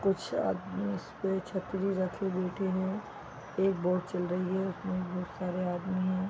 कुछ आदमी इस पे छतरी रखे बैठे है एक बोट चल रही है उसने बहुत सारे आदमी है।